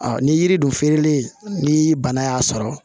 ni yiri dun feereli ni bana y'a sɔrɔ